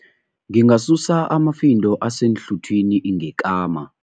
Ngingasusa amafindo aseenhluthwini ngekama.